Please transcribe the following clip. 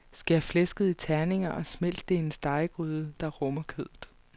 Skær flæsket i terninger og smelt det i en stegegryde, der rummer kødet.